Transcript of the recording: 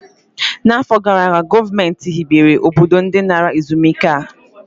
N'afọ gara aga, gọọmentị hibere obodo ndi nara ezumike nka a